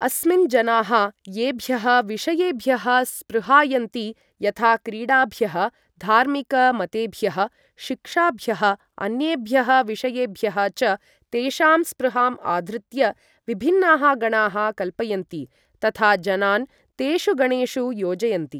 अस्मिन्, जनाः येभ्यः विषयेभ्यः स्पृहयन्ति यथा क्रीडाभ्यः, धार्मिक मतेभ्यः, शिक्षाभ्यः, अन्येभ्यः विषयेभ्यः च, तेषां स्पृहाम् आधृत्य, विभिन्नाः गणाः कल्पयन्ति तथा जनान् तेषु गणेषु योजयन्ति।